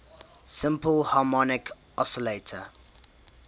simple harmonic oscillator